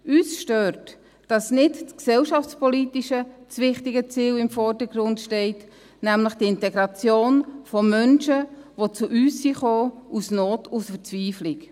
Uns stört, dass nicht das Gesellschaftspolitische, das wichtige Ziel im Vordergrund steht, nämlich die Integration von Menschen, die aus Not, aus Verzweiflung zu uns gekommen sind.